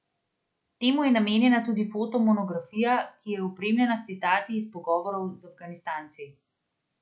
Temu je namenjena tudi foto monografija, ki je opremljena s citati iz pogovorov z Afganistanci.